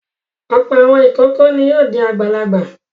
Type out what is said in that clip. Ọ̀pọ̀ àwọn ìkókó ni yóò di àgbàlagbà.